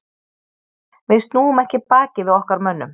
Við snúum ekki baki við okkar mönnum.